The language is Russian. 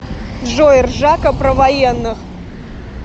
джой ржака про военных